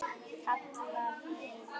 kallaði einn.